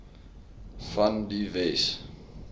van die wes